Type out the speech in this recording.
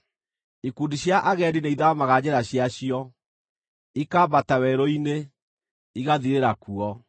Ikundi cia agendi nĩithaamaga njĩra ciacio, ikambata werũ-inĩ, igathirĩra kuo.